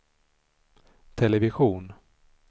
television